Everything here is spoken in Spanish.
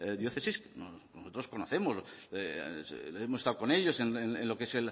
diócesis que nosotros conocemos hemos estado con ellos en lo que es